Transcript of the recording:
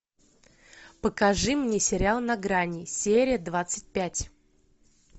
покажи мне сериал на грани серия двадцать пять